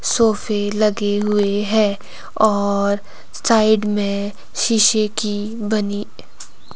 सोफे लगे हुए है और साइड में शीशे की बनी